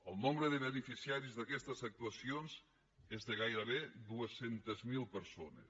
el nombre de beneficiaris d’aquestes actuacions és de gairebé dos cents miler persones